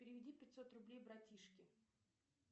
переведи пятьсот рублей братишке